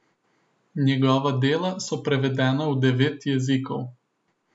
Njegova dela so prevedena v devet jezikov.